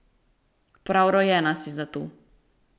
Prav rojena si za to.